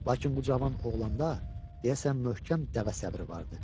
Lakin bu cavan oğlanda deyəsən möhkəm dəvə səbri vardı.